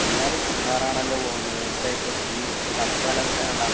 എല്ലാരും മൂന്നാറാണല്ലോ പോകുന്നത്. എന്തായിപ്പ തീ തണുപ്പ് കാലാവസ്ഥയായോണ്ടാ?